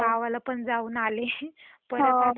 परत आता जायच आहे नेक्स्ट मंथ मध्ये.